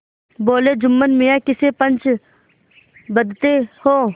बोलेजुम्मन मियाँ किसे पंच बदते हो